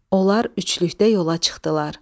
Onlar üçlükdə yola çıxdılar.